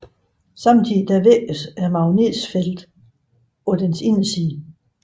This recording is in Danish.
Samtidig svækkes magnetfeltet på dens inderside